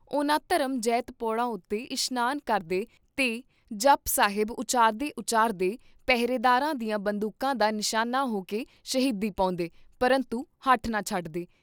ਉਹਨਾਂ ਧਰਮ ਜੈਤ ਪੌੜਾਂ ਉਤੇ ਇਸ਼ਨਾਨ ਕਰਦੇ ਤੇ ਜਪੁ ਸਾਹਿਬ ਉਚਾਰਦੇ ਉਚਾਰਦੇ ਪਹਿਰੇਦਾਰਾਂ ਦੀਆਂ ਬੰਦੂਕਾਂ ਦਾ ਨਿਸ਼ਾਨਾ ਹੋਕੇ ਸ਼ਹੀਦੀ ਪਾਉਂਦੇ , ਪਰੰਤੂ ਹਠ ਨਾ ਛੱਡਦੇ ।